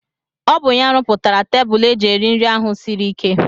Ọ bụ ya rụpụtara tebụl eji eri nri ahụ siri ike.